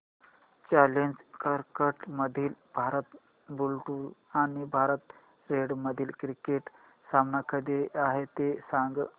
challenger करंडक मधील Bharat blue आणि भारत रेड मधील क्रिकेट सामना कधी आहे ते सांगा